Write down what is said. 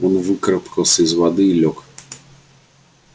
он выкарабкался из воды и лёг